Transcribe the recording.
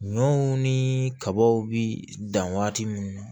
Ɲɔw ni kabaw bi dan waati minnu na